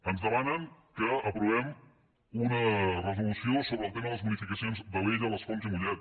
ens demanen que aprovem una resolució sobre el tema de les bonificacions d’alella les fonts i mollet